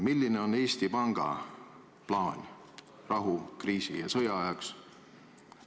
Milline on Eesti Panga plaan rahu-, kriisi- ja sõjaajaks?